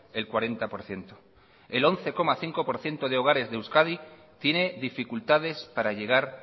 el cuarenta por ciento el once coma cinco por ciento de hogares de euskadi tiene dificultades para llegar